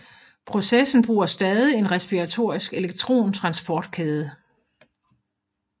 Processen bruger stadig en respiratorisk elektron transportkæde